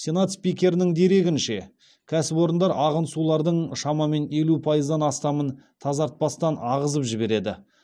сенат спикерінің дерегінше кәсіпорындар ағын сулардың шамамен елу пайыздан астамын тазартпастан ағызып жібереді